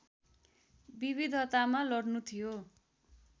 विविधतामा लड्नु थियो